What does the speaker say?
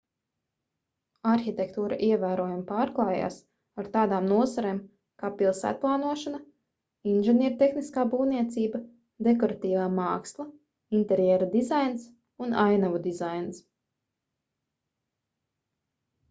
arhitektūra ievērojami pārklājās ar tādām nozarēm kā pilsētplānošana inženiertehniskā būvniecība dekoratīvā māksla interjera dizains un ainavu dizains